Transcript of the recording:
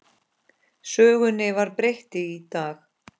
Sögunni var breytt í dag.